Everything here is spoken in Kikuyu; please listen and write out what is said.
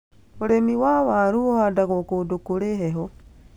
Ũrĩmi wa waaru uhandagwo kũndũ kũrĩ heho